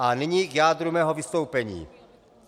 A nyní k jádru mého vystoupení.